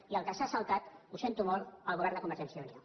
i el que s’ha saltat ho sento molt el govern de convergència i unió